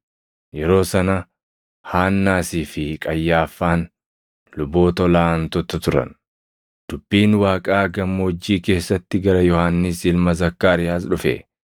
yeroo sana Haannaasii fi Qayyaaffaan luboota ol aantota turan. Dubbiin Waaqaa gammoojjii keessatti gara Yohannis ilma Zakkaariyaas dhufe.